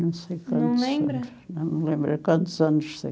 Não sei quantos anos. Não lembra? Não lembro quantos anos tem.